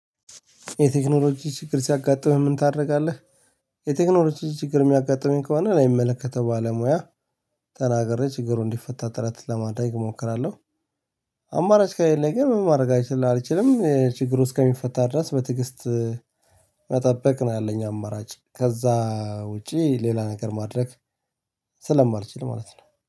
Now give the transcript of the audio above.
የቴክኖሎጂ ችግር ሲያጋጥምህ ምን ታደርጋለህ? የቴክኖሎጂ ችግር የሚያጋጥመኝ ከሆነ ለሚመለከተው ባለሙያ ተናግሬ ችግሩ እንዲፈታ ጥረት ለማድረ ሞክራለው። አማራጭ ከሌለ ምን ማድረግ አልችም ችግሩ እስከሚፈታ ድረስ በትግስት መጠበቅ ነው። ያለኝ አማራጭ ከዛ ውጪ ሌላ ነገር ማድረግ ስለማልችል ማለት ነው